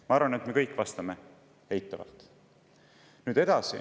Ma arvan, et me kõik vastame eitavalt.